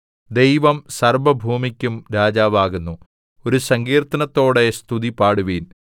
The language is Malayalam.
ദൈവം സർവ്വഭൂമിക്കും രാജാവാകുന്നു ഒരു സങ്കീർത്തനത്തോടെ സ്തുതിപാടുവിൻ